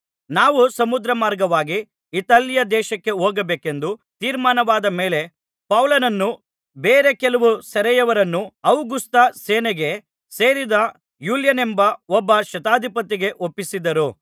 ನಾವು ಸಮುದ್ರಮಾರ್ಗವಾಗಿ ಇತಾಲ್ಯದೇಶಕ್ಕೆ ಹೋಗಬೇಕೆಂದು ತೀರ್ಮಾನವಾದ ಮೇಲೆ ಪೌಲನನ್ನೂ ಬೇರೆ ಕೆಲವು ಸೆರೆಯವರನ್ನೂ ಔಗುಸ್ತ ಸೇನೆಗೆ ಸೇರಿದ ಯೂಲ್ಯನೆಂಬ ಒಬ್ಬ ಶತಾಧಿಪತಿಗೆ ಒಪ್ಪಿಸಿದರು